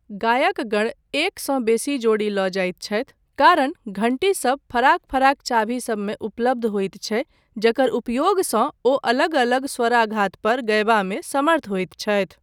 गायक गण एकसँ बेसी जोड़ी लऽ जाइत छथि, कारण घण्टी सब फराक फराक चाभी सबमे उपलब्ध होइत छै जकर उपयोगसँ ओ अलग अलग स्वाराघात पर गयबामे समर्थ होइत छथि।